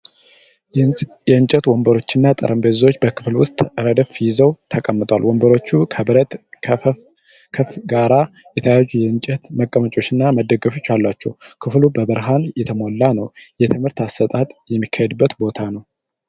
የእንጨት ወንበሮችና ጠረጴዛዎች በክፍል ውስጥ ረድፍ ይዘው ተቀምጠዋል። ወንበሮቹ ከብረት ክፈፍ ጋር የተያያዙ የእንጨት መቀመጫዎችና መደገፊያዎች አሏቸው። ክፍሉ በብርሃን የተሞላ ነው፤ የትምህርት አሰጣጥ የሚካሄድበት ቦታ ነው።